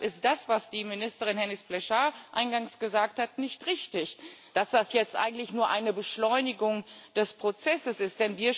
Und deshalb ist das, was die Ministerin Hennis Plasschaert eingangs gesagt hat, nicht richtig, dass das jetzt eigentlich nur eine Beschleunigung des Prozesses ist.